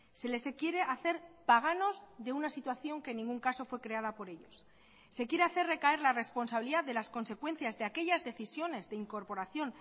se les quiere hacer paganos de una situación que en ningún caso fue creada por ellos se quiere hacer recaer la responsabilidad de las consecuencias de aquellas decisiones de incorporación